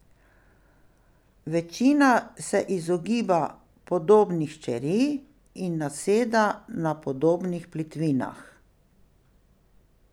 Večina se izogiba podobnih čeri in naseda na podobnih plitvinah.